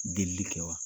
Delili kɛ wa